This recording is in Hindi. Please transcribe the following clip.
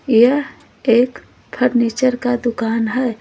यह एक फर्नीचर कादुकान है।